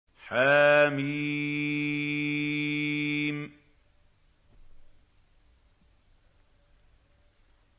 حم